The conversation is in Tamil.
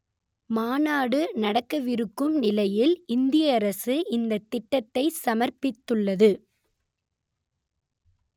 மாநாடு நடக்கவிருக்கும் நிலையில் இந்திய அரசு இந்த திட்டத்தை சமர்ப்பித்துள்ளது